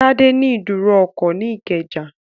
Tádé ní ìdúró ọkọ̀ ní Ìkẹjà